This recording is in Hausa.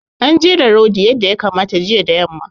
An jera rodi yadda ya kamata jiya da yamma.